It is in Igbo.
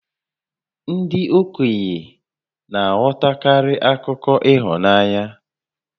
Ndị okenye na-aghọtakarị akụkọ ịhụnanya